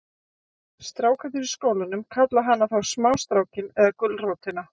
Strákarnir í skólanum kalla hana þá smástrákinn eða gulrótina.